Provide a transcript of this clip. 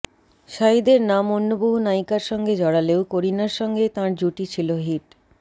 শাহিদের নাম অন্য বহু নায়িকার সঙ্গে জড়ালেও করিনার সঙ্গেই তাঁর জুটি ছিল হিট